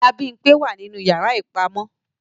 Ìyá Bimpé wa ninu yara ipamọ.